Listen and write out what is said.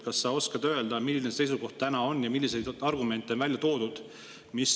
Kas sa oskad öelda, milline see seisukoht täna on ja milliseid argumente on välja toodud?